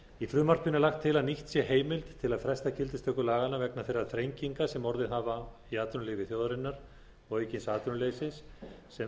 í frumvarpinu er lagt til að nýtt sé heimild til að fresta gildistöku laganna vegna þeirra þrenginga sem orðið hafa í efnahagslífi þjóðarinnar og aukins atvinnuleysis sem